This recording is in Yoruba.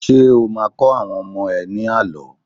Ṣé́ o máa kọ́ àwọn ọmọ ẹ ní àlọ́?